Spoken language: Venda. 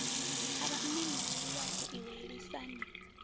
avha mmemuhulu wau iwe lisani